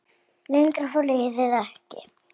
Lengra fór liðið ekki.